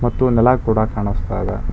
ಮತ್ತು ನೆಲ ಕೂಡ ಕಾಣಿಸ್ತಾ ಇದೆ.